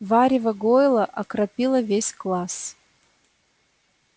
варево гойла окропило весь класс